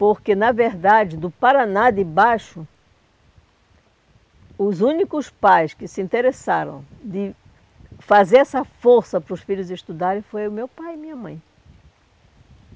Porque, na verdade, do Paraná de baixo, os únicos pais que se interessaram de fazer essa força para os filhos estudarem foi o meu pai e minha mãe.